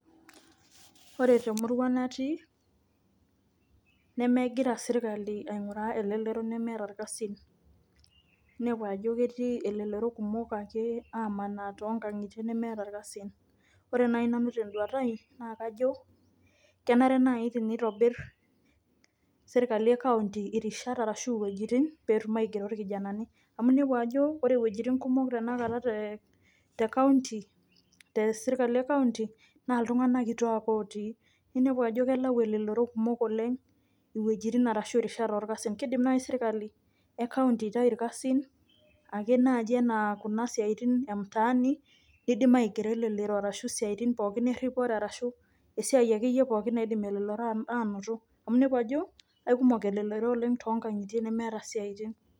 Ore te murua natii nemegira serkali aing'uraa elelero nemeeta irkasin, inepu ajo ketii ilelero kumok ake aamanaa too nkang'itie nemeeta irkasin. Ore nai nanu tenduata ai naa kajo kenare nai tenitobir serkali e county irishat arashu iwuejitin peetum aigero irkijanani amu inepu ajo ore iwuejitin kumok tenkata te te county te sirkali e county naa iltung'anak kituak otii, ninepu ajo kelau elelero kumok oleng' iwuejitin arashu rishat orkasin. Kiidim nai sirkali e county aitayu irkasin ake naaji enaa kuna siaitin e mtaani, niidim aigero elelro arashu isiaitin pookin eripore arashu esiai akeyie pooki naidim elelero aanoto amu inepu ajo aikumok elelero oleng' too nkang'itie nemeeta isiaitin.